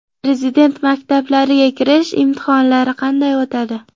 Prezident maktablariga kirish imtihonlari qanday o‘tadi?